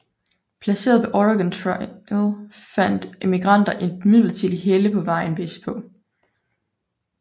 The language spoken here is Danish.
Placeret ved Oregon Trial fandt emigranter et midlertidigt helle på vejen vestpå